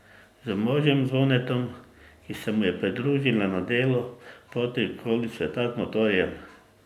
Z možem Zvonetom, ki se mu je pridružila na delu poti okoli sveta z motorjem.